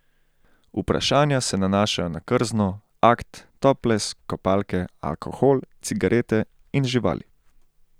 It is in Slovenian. Vprašanja se nanašajo na krzno, akt, toples, kopalke, alkohol, cigarete in živali.